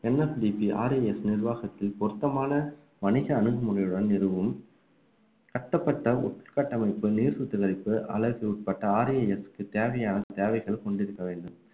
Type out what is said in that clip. NFDPRAS நிர்வாகத்தில் பொருத்தமான வணிக அணுகுமுறையுடன் நிறுவும் கட்டப்பட்ட உட்கட்டமைப்பு நீர் சுத்திகரிப்பு அழகு உட்பட்ட RAS க்கு தேவையான தேவைகள் கொண்டிருக்க வேண்டும்